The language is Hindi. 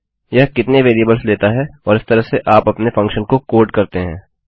यह कितने वेरिएबल्स लेता है और इस तरह से आप अपने फंक्शन को कोड करते हैं